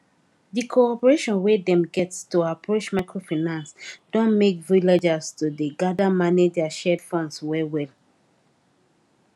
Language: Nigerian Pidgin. the cooperation wey dem get to approach microfinance don make villagers to dey gather manage their shared funds well well